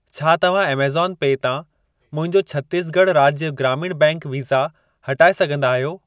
छा तव्हां ऐमज़ॉन पे तां मुंहिंजो छत्तीसगढ़ राज्य ग्रामीण बैंक वीसा हटाए सघंदा आहियो?